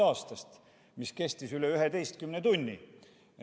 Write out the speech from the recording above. See kõne kestis üle 11 tunni.